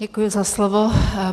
Děkuji za slovo.